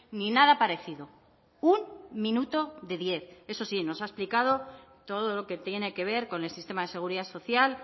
ni nada parecido un minuto de diez eso sí nos ha explicado todo lo que tiene que ver con el sistema de seguridad social